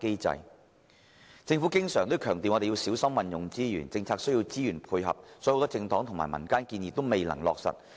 政府經常強調要小心運用資源，而政策亦需要資源配合，以致很多政黨和民間提出的建議均未能落實。